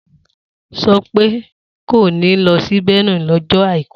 Sope kò ní lọ sí Benue lọ́jọ́ àìkú